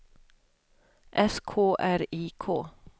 S K R I K